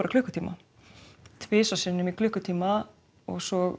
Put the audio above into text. klukkutíma tvisvar sinnum í klukkutíma svo